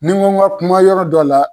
Ni n ko n ka kuma yɔrɔ dɔ la